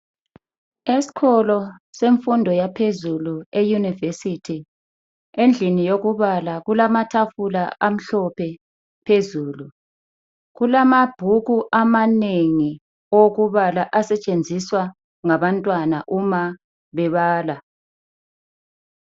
Esikolo semfundo yaphezulu e yunivesithi endlini yokubala kulamatafula amhlophe phezulu, kulamabhuku amanengi okubala asetshenziswa ngabantwana uma bebala.